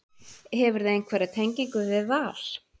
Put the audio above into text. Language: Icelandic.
Hefurðu einhverja tengingu við Val?